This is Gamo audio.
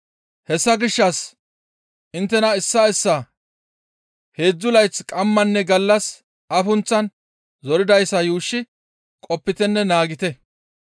Hessa gishshas inttena issaa issaa heedzdzu layth qammanne gallas afunththan zoridayssa yuushshi qopitenne naagettite.